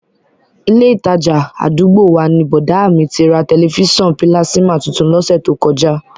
Ilé ìtajà àdúgbò wa ni bọ̀dá à mi ti ra tẹ̀lifísàn pílásímà tuntun lọ́sẹ̀ tó kọjá